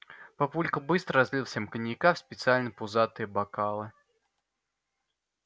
папулька быстро разлил всем коньяка в специальные пузатые бокалы